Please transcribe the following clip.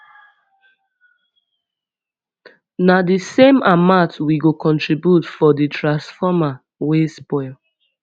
na di same amount we go contribute for di transformer wey spoil